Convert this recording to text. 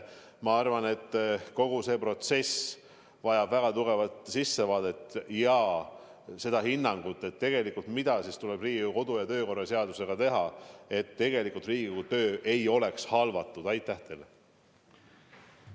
Ma arvan, et kogu see protsess vajab väga tugevat sissevaadet ja hinnangut, mida ikkagi tuleb Riigikogu kodu- ja töökorra seadusega teha, et Riigikogu töö ei saaks teatud juhtudel tegelikult halvatud.